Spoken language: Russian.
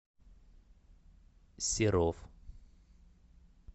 серов